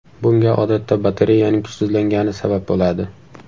Bunga odatda batareyaning kuchsizlangani sabab bo‘ladi.